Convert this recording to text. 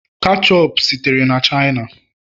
ketchup sitere na china